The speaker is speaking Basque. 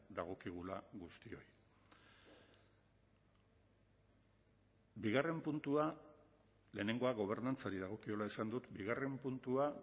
dagokigula guztioi bigarren puntua lehenengoa gobernantzari dagokiola esan dut bigarren puntua